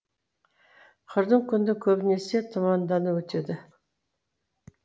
қырдың күні көбінесе тұманда өтеді